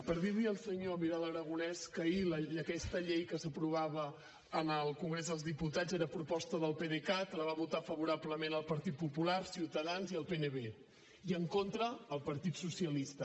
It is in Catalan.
per dir li al senyor vidal aragonés que ahir aquesta llei que s’aprovava en el congrés dels diputats era a proposta del pdecat la van votar favorablement el partit popular ciutadans i el pnb i en contra el partit socialista